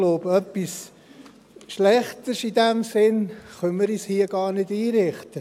Ich glaube, etwas Schlechteres können wir uns hier in diesem Sinn gar nicht einrichten.